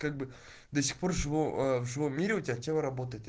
как бы до сих пор живу в живом мире у тебя тело работает